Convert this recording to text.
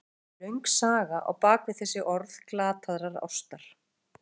Oftar en ekki er löng saga á bak við þessi orð glataðrar ástar.